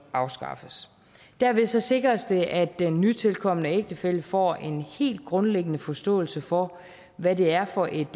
afskaffes dermed sikres det at den nytilkomne ægtefælle får en helt grundlæggende forståelse for hvad det er for et